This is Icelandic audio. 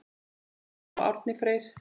Lena og Árni Freyr.